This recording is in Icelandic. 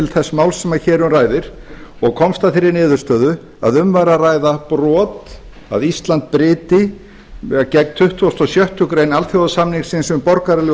þess máls sem hér um ræðir og komst að þeirri niðurstöðu að um væri að ræða brot að ísland bryti gegn tuttugasta og sjöttu grein alþjóðasamningsins um borgaraleg og